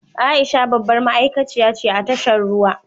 Aisha babbar ma’aikaciya ce a tashar ruwa.